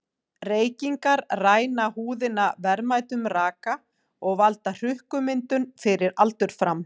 Reykingar ræna húðina verðmætum raka og valda hrukkumyndun fyrir aldur fram.